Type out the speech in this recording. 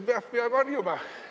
Jah, peab harjuma.